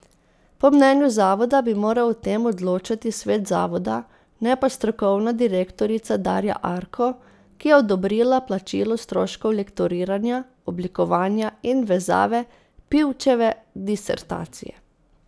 Po mnenju zavoda bi moral o tem odločati svet zavoda, ne pa strokovna direktorica Darja Arko, ki je odobrila plačilo stroškov lektoriranja, oblikovanja in vezave Pivčeve disertacije.